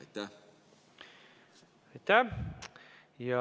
Aitäh!